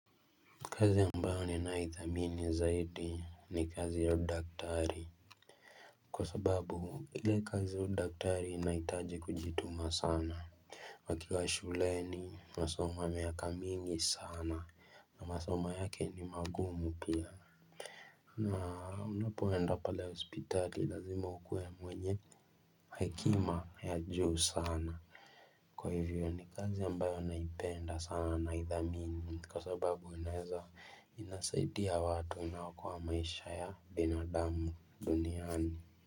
Kazi ambayo ninayoithamini zaidi ni kazi ya udaktari Kwa sababu ile kazi ya udaktari inahitaji kujituma sana wakiwa shuleni masomo ya miaka mingi sana na masomo yake ni magumu pia na unapoenda pale hospitali lazima ukuwe mwenye hekima ya juu sana Kwa hivyo ni kazi ambayo naipenda sana naidhamini kwa sababu inaeza inasaidia watu inaokoa maisha ya binadamu duniani.